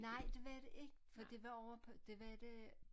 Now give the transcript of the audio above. Nej det var det ik det var ovre på det var da